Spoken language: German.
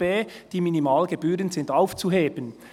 «Die Minimalgebühren sind aufzuheben.